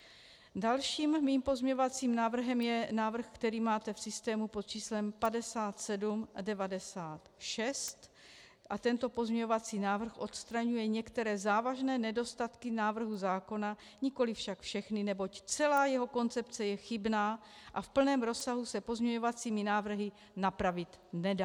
Dalším mým pozměňovacím návrhem je návrh, který máte v systému pod číslem 5796 a tento pozměňovací návrh odstraňuje některé závažné nedostatky návrhu zákona, nikoliv však všechny, neboť celá jeho koncepce je chybná a v plném rozsahu se pozměňovacími návrhy napravit nedá.